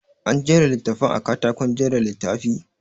An jera littattafan a katakon jera littafi?